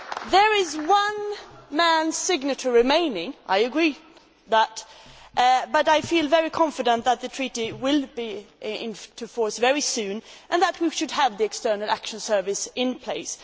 There is one man's signature remaining, I agree, but I feel very confident that the Treaty will enter into force very soon, and that we should have the External Action Service in place.